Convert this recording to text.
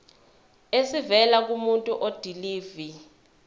esivela kumuntu odilive